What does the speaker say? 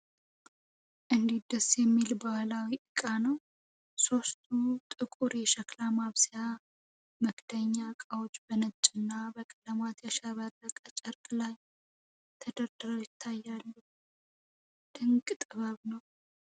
እንዴት ደስ የሚል ባህላዊ ዕቃ ነው! ሦስቱ ጥቁር የሸክላ ማብሰያ/መክደኛ ዕቃዎች በነጭና በቀለማት ያሸበረቀ ጨርቅ ላይ ተደርድረው ይታያሉ! ድንቅ ጥበብ ነው!